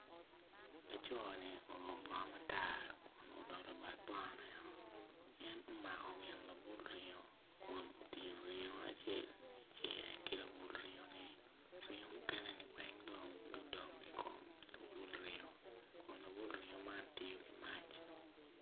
Laco ni oruko obongo matar kun en odolo bad bongo ne o gin omako gin labul ringo kun otingo ringo acel ki labul ringo ni ringo mukene ni weng dong gudong i kom labul ringo kun labul ringo ni tye i mac.